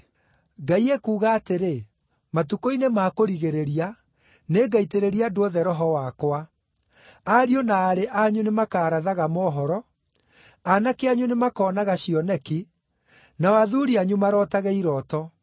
“ ‘Ngai ekuuga atĩrĩ, matukũ-inĩ ma kũrigĩrĩria nĩngaitĩrĩria andũ othe Roho wakwa. Ariũ na aarĩ anyu nĩmakarathaga mohoro, Aanake anyu nĩmakonaga cioneki, nao athuuri anyu marootage irooto.